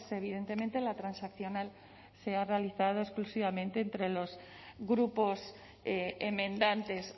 evidentemente la transaccional se ha realizado exclusivamente entre los grupos enmendantes